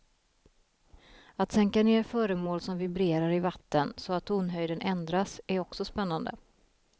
Att sänka ner föremål som vibrerar i vatten så att tonhöjden ändras är också spännande.